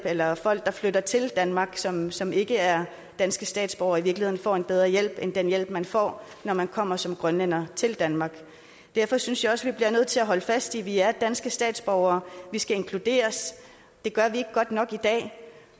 eller folk der flytter til danmark som som ikke er danske statsborgere i virkeligheden får en bedre hjælp end den hjælp man får når man kommer som grønlænder til danmark derfor synes jeg også vi bliver nødt til at holde fast i at vi er danske statsborgere vi skal inkluderes det gøres ikke godt nok i dag